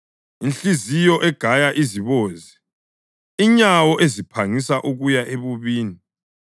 inhliziyo egaya izibozi, inyawo eziphangisa ukuya ebubini,